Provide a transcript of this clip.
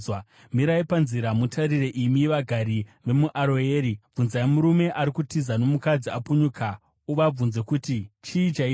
Mirai panzira mutarire, imi vagari vemuAroeri. Bvunzai murume ari kutiza nomukadzi apunyuka, muvabvunze kuti, ‘Chii chaitika?’